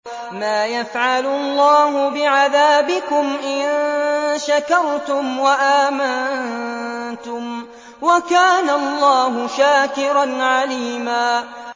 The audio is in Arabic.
مَّا يَفْعَلُ اللَّهُ بِعَذَابِكُمْ إِن شَكَرْتُمْ وَآمَنتُمْ ۚ وَكَانَ اللَّهُ شَاكِرًا عَلِيمًا